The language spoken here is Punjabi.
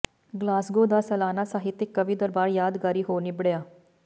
ਗਲਾਸਗੋ ਦਾ ਸਾਲਾਨਾ ਸਾਹਿਤਕ ਕਵੀ ਦਰਬਾਰ ਯਾਦਗਾਰੀ ਹੋ ਨਿੱਬੜਿਆ